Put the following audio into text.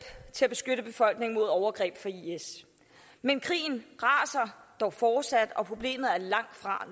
til at beskytte befolkningen mod overgreb fra is men krigen raser dog fortsat og problemet er langtfra